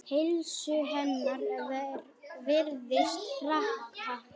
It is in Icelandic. Heilsu hennar virðist hraka.